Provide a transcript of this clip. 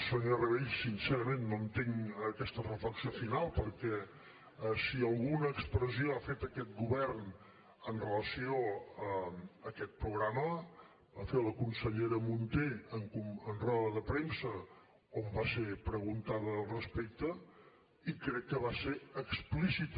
senyor rabell sincerament no entenc aquesta reflexió final perquè si alguna expressió ha fet aquest govern amb relació a aquest programa ho va fer la consellera munté en roda de premsa on va ser preguntada al respecte i crec que va ser explícita